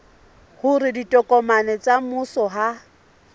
hore ditokomane tsa mmuso ha